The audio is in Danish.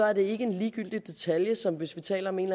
er det ikke en ligegyldig detalje som hvis vi taler om en